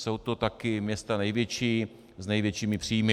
Jsou to taky města největší s největšími příjmy.